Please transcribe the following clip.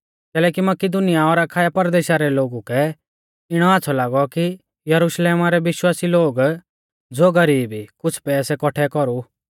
कैलैकि मकिदुनीया और अखाया परदेशा रै लोगु कै इणौ आच़्छ़ौ लागौ कि यरुशलेमा रै विश्वासी लोग ज़ो गरीब ई कुछ़ पैसै कौठै कौरु